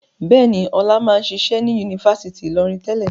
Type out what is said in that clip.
Bẹ́ẹ̀ ni, Ọlá máa ń ṣiṣẹ́ ní Yunifásítì Ìlọrin tẹ́lẹ̀.